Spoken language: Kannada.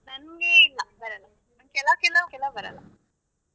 ನನ್ಗೆ ಇಲ್ಲ ಬರಲ್ಲ ಕೆಲವ್ ಕೆಲವ್ ಕೆಲವ್ ಬರಲ್ಲ.